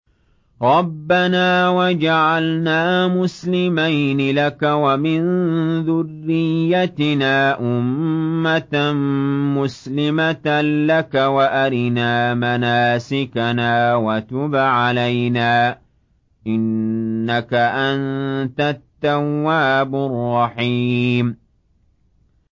رَبَّنَا وَاجْعَلْنَا مُسْلِمَيْنِ لَكَ وَمِن ذُرِّيَّتِنَا أُمَّةً مُّسْلِمَةً لَّكَ وَأَرِنَا مَنَاسِكَنَا وَتُبْ عَلَيْنَا ۖ إِنَّكَ أَنتَ التَّوَّابُ الرَّحِيمُ